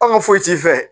Anw ka foyi t'i fɛ